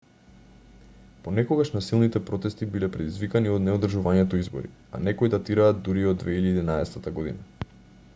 понекогаш насилните протести биле предизвикани од неодржувањето избори а некои датираат дури и од 2011 година